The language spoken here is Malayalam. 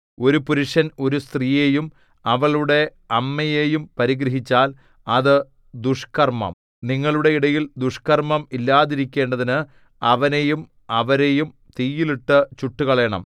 ഒരു പുരുഷൻ ഒരു സ്ത്രീയെയും അവളുടെ അമ്മയെയും പരിഗ്രഹിച്ചാൽ അത് ദുഷ്കർമ്മം നിങ്ങളുടെ ഇടയിൽ ദുഷ്കർമ്മം ഇല്ലാതിരിക്കേണ്ടതിന് അവനെയും അവരെയും തീയിൽ ഇട്ടു ചുട്ടുകളയണം